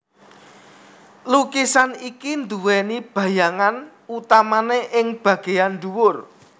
Lukisan iki duweni bayangan utamane ing bageyan dhuwur